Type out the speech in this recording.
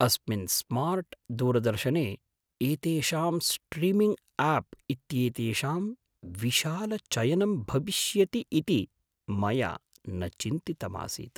अस्मिन् स्मार्ट् दूरदर्शने एतेषां स्ट्रीमिङ्ग् आप् इत्येतेषां विशालचयनं भविष्यति इति मया न चिन्तितमासीत्!